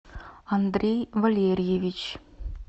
андрей валерьевич